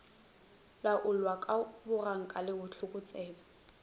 laolwa ka boganka le bohlokotsebe